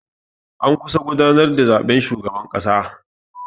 An kusa gudanar da zaɓen shugaban ƙasa.